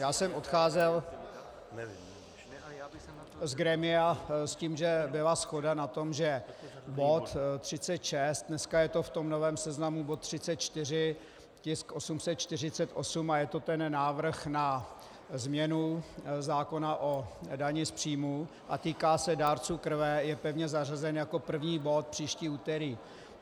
Já jsem odcházel z grémia s tím, že byla shoda na tom, že bod 36, dneska je to v tom novém seznamu bod 34, tisk 848, a je to ten návrh na změnu zákona o dani z příjmu a týká se dárců krve, je pevně zařazen jako první bod příští úterý.